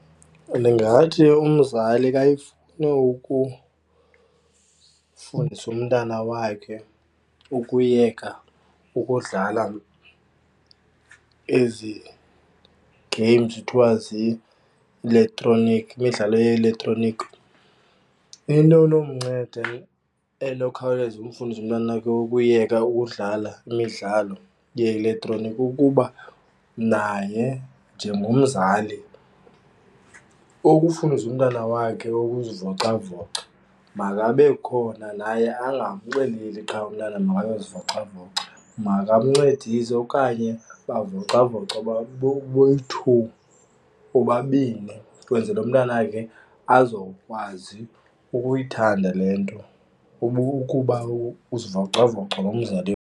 Ndingathi umzali kayifuna ukufundisa umntana wakhe ukuyeka ukudlala ezi games kuthiwa zii-elektroniki, imidlalo ye-elektroniki, into enomnceda enokhawuleza umfundise umntwana wakhe ukuyeka ukudlala imidlalo ye-elektroniki kukuba naye njengomzali ukufundisa umntana wakhe ukuzivocavoca. Makabe khona naye angamxeleli qha umntana makayozivocavoca, makamncedise okanye bavocavoce boyi-two, bobabini, kwenzele umntanakhe azokwazi ukuyithanda le nto ukuba uzivocavoca nomzali.